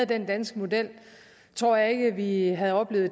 den danske model tror jeg ikke at vi havde oplevet